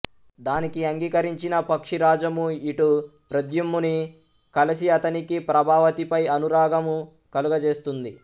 దానికి అంగీకరించిన పక్షిరాజము ఇటు ప్రద్యుమ్నుని కలిసి అతనికి ప్రభావతిపై అనురాగము కలుగచేస్తుంది